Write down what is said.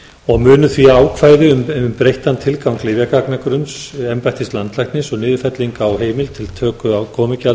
og munu því ákvæði um breyttan tilgang lyfjagagnagrunns embættis landlæknis og niðurfellingu á heimild til töku á komugjalds sjúkrahúsum